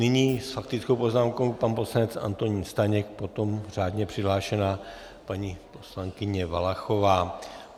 Nyní s faktickou poznámkou pan poslanec Antonín Staněk, potom řádně přihlášená paní poslankyně Valachová.